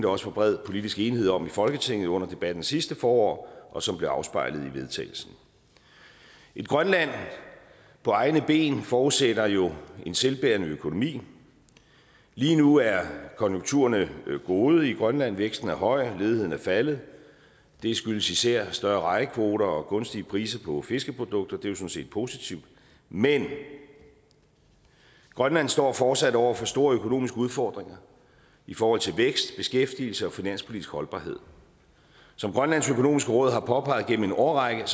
også var bred politisk enighed om i folketinget under debatten sidste forår og som blev afspejlet i vedtagelsen et grønland på egne ben forudsætter jo en selvbærende økonomi lige nu er konjunkturerne gode i grønland væksten er høj ledigheden er faldet og det skyldes især større rejekvoter og gunstige priser på fiskeprodukter det er jo sådan set positivt men grønland står fortsat over for store økonomiske udfordringer i forhold til vækst beskæftigelse og finanspolitisk holdbarhed som grønlands økonomiske råd har påpeget gennem en årrække